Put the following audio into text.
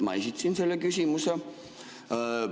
Ma esitasin selle küsimuse.